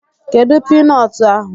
Kedụ piinọọtụ ahụ?